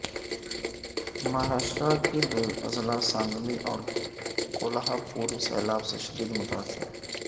مہاراشٹرا کے دو اضلاع سانگلی اور کولہا پور سیلاب سے شدید متاثر